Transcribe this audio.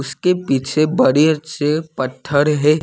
उसके पीछे बड़े से पत्थर है।